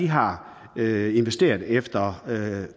har investeret efter